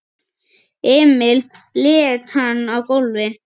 Emil lét hann á gólfið.